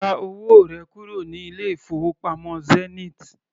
Gba owó rẹ kúrò ní ilé-ìfowópamọ́ Zenith!